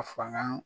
A fanga